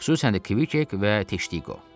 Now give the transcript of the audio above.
Xüsusən də Kvikveq və Teştiqo.